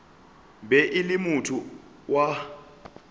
be e le motho wa